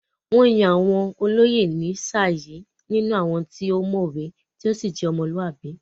Wọ́n yàn àwọn olóyè ní sáà yìí nínú àwọn tí ó mọ̀wé tí ó sì je ọmọlúwàbí.